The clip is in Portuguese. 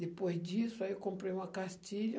Depois disso, aí comprei uma cartilha.